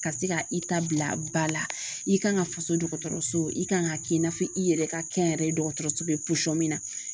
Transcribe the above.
Ka se ka i ta bila ba la i kan ka faso dɔgɔtɔrɔso i kan ka kɛ i n'a fɔ i yɛrɛ ka kɛnyɛrɛye dɔgɔtɔrɔso be min na